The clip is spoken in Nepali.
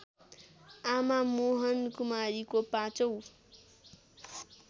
आमा मोहनकुमारीको पाँचौँ